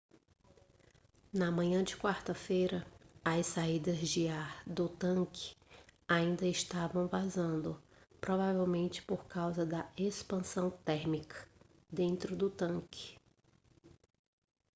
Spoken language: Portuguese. na manhã de quarta-feira as saídas de ar do tanque ainda estavam vazando provavelmente por causa da expansão térmica dentro do tanque